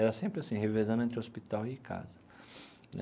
Era sempre assim, revezando entre hospital e casa né.